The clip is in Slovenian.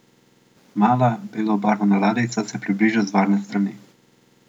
Mala, belo obarvana ladjica se približa z varne strani.